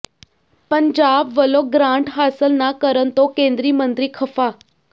ਪੰਜਾਬ ਵੱਲੋਂ ਗ੍ਰਾਂਟ ਹਾਸਲ ਨਾ ਕਰਨ ਤੋਂ ਕੇਂਦਰੀ ਮੰਤਰੀ ਖ਼ਫ਼ਾ